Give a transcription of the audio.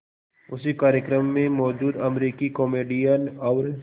उसी कार्यक्रम में मौजूद अमरीकी कॉमेडियन और